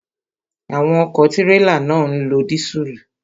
Àwọn ọ̀kọ̀ tírélà náà ń lo dísùlù.